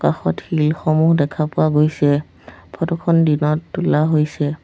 কাষত শিল সমূহ দেখা পোৱা গৈছে ফটো খন দিনত তোলা হৈছে।